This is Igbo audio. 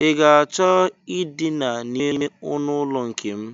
I ga-achọ Idina n'ime ọnụụlọ nke m?